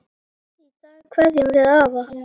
Í dag kveðjum við afa.